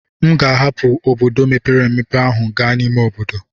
M ga-ahapụ obodo mepere emepe ahụ gaa n'ime obodo.